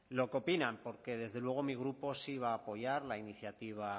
lo que opinan porque desde luego mi grupo sí va a apoyar la iniciativa